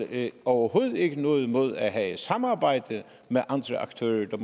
vi overhovedet ikke noget imod at have et samarbejde med andre aktører